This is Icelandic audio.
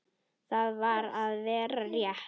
Og það var alveg rétt.